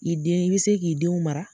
I den i be se k'i denw mara.